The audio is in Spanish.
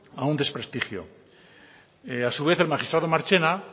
a un desprestigio a su vez el magistrado marchena